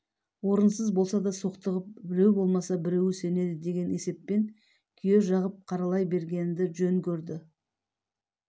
орынсыз болса да соқтығып біреу болмаса біреуі сенеді деген есеппен күйе жағып қаралай бергенді жөн көрді